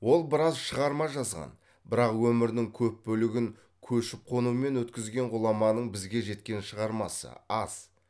ол біраз шығарма жазған бірақ өмірінің көп бөлігін көшіп қонумен өткізген ғұламаның бізге жеткен шығармасы аз